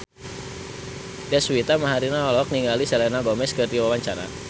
Deswita Maharani olohok ningali Selena Gomez keur diwawancara